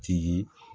Jigi